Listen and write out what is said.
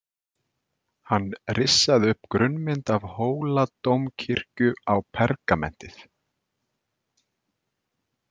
Hann rissaði upp grunnmynd af Hóladómkirkju á pergamentið.